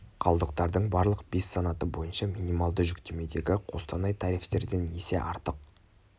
қалдықтардың барлық бес санаты бойынша минималды жүктемедегі қостанай тарифтерден есе артық